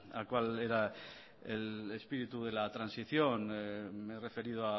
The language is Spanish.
a cuál era el espíritu de la transición me he referido